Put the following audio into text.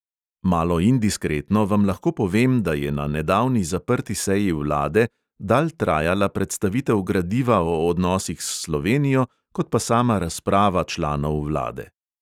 Malo indiskretno vam lahko povem, da je na nedavni zaprti seji vlade dalj trajala predstavitev gradiva o odnosih s slovenijo kot pa sama razprava članov vlade.